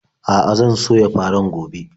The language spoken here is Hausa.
A'a, zan soya farin gobe.